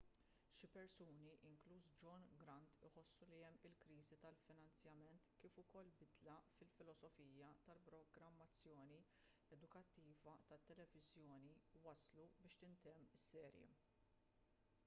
xi persuni inkluż john grant iħossu li kemm il-kriżi tal-finanzjament kif ukoll bidla fil-filosofija tal-programmazzjoni edukattiva tat-televiżjoni wasslu biex jintemm is-serje